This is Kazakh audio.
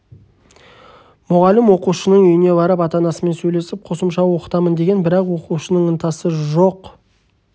мұғалім оқушының үйіне барып ата-анасымен сөйлесіп қосымша оқытамын деген бірақ оқушының ынтасы жоқ